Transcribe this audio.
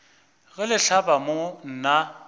ge le hlaba mo nna